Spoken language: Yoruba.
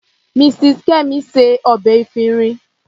Mrs. Kemi se ọbẹ̀ efinrin.